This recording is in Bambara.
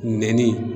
Nɛni